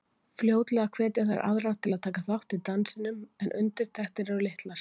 Fljótlega hvetja þær aðra til að taka þátt í dansinum en undirtektir eru litlar.